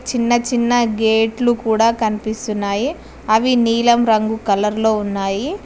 చిన్న చిన్న గేట్లు కూడా కనిపిస్తున్నాయి అవి నీలం రంగు కలర్ లో ఉన్నాయి.